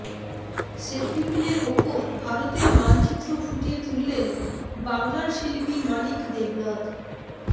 সেফটিপিনের ওপর ভারতের মানচিত্র ফুটিয়ে তুললেন বাংলার শিল্পী মানিক দেবনাথ